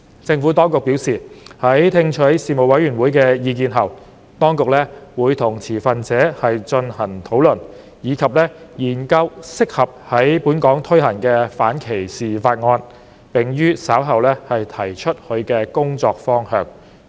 政府當局表示，在聽取事務委員會的意見後，當局會與持份者進行討論，以及研究適合在本港推行的反歧視方案，並於稍後提出其工作方向。